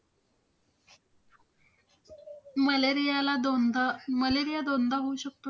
Malaria ला दोनदा Malaria दोनदा होऊ शकतो?